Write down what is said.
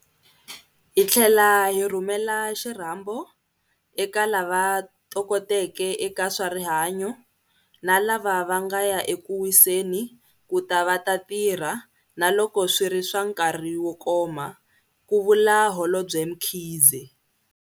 Hi tlhela hi rhumela xirhambo eka lava tokoteke eka swa rihanyo, na lava va nga ya eku wiseni, ku ta va ta tirha - naloko swi ri swa nkarhi wo koma, ku vula Holobye Mkhize.